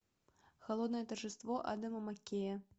холодное торжество адама маккея